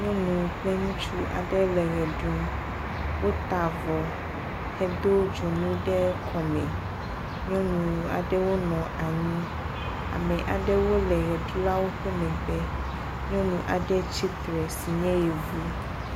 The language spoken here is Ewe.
Nyɔnu kple ŋutsu aɖe le ʋe ɖe ɖum. Wota avɔ hedo dzonu ɖe kɔme. Nyɔnu aɖewo wonɔ anyi. Ame aɖewo le ʋeɖulawo ƒe megbe. Nyɔnu aɖe tsitre si nye Yevu.